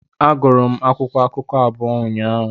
Agụrụ m akwụkwọ akụkọ abụọ ụnyaahụ.